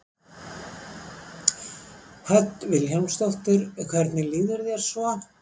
Hödd Vilhjálmsdóttir: Hvernig líður þér svo?